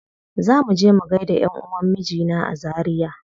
Za muje mu gaida ƴanʼuwan mijina a zaria.